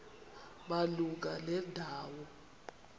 malunga nenda wo